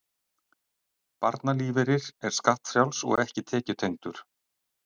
Barnalífeyrir er skattfrjáls og ekki tekjutengdur